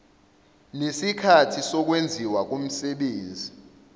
nesikhathi sokwenziwa komsebenzi